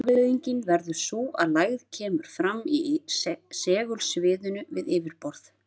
Afleiðingin verður sú að lægð kemur fram í segulsviðinu við yfirborð.